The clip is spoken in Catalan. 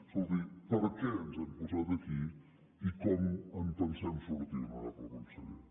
escolti per què ens hem posat aquí i com en pensem sortir honorable conseller